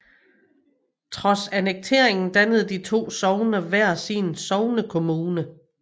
Trods annekteringen dannede de to sogne hver sin sognekommune